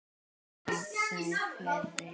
Ásgeir: Já, verða þær fleiri?